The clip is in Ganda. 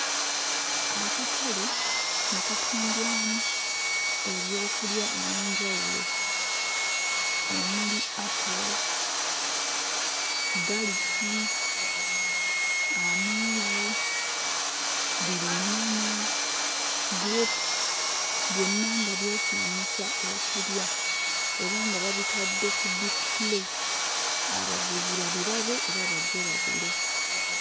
Akatale nga katundwamu ebyokulya eby'enjawulo omuli apo, galiki, amenvu, bbiriŋŋanya, gulepusi byonna nga byesiimisa okulya era nga babitadde ku diisipule abaguzi babirabe era bajje bagule.